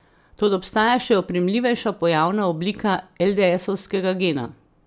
Toda obstaja še oprijemljivejša pojavna oblika eldeesovskega gena.